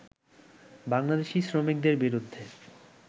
বাংলাদেশি শ্রমিকদের বিরুদ্ধে